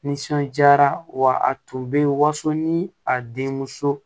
Nisɔndiyara wa a tun bɛ yen waso ni a denmuso